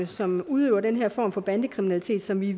som udøver den her form for bandekriminalitet som vi